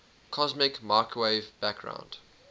cosmic microwave background